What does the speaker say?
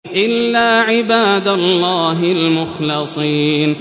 إِلَّا عِبَادَ اللَّهِ الْمُخْلَصِينَ